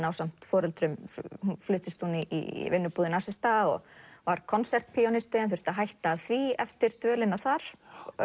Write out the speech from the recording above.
ásamt foreldrum fluttist hún í vinnubúðir nasista og var konsertpíanisti en þurfti að hætta því eftir dvölina þar